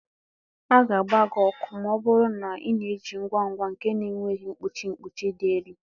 A ga-agba gị ọkụ ma ọ bụrụ na ị na-eji ngwa ngwa nke na-enweghị mkpuchi mkpuchi dị elu.